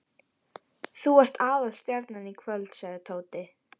Þú ert aðalstjarnan í kvöld sagði Tóti.